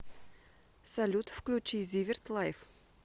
салют включи зиверт лайф